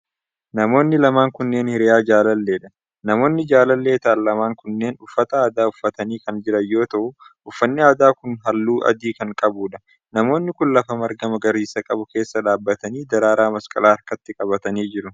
Namoonni lamaan kunneen, hiriyaa jaalallee dha. Namoonni jaalallee ta'an lamaan kunneen uffata aadaa uffatanii kan jiran yoo ta'u, uffanni aadaa kun haalluu adii kan qabuu dha. Namoonni kun, lafa marga magariisa qabu keessa dhaabatanii daraaraa masqalaa harkatti qabatanii jiru.